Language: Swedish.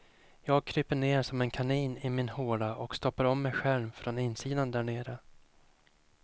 Jag kryper ner som en kanin i min håla och stoppar om mig själv från insidan där nere.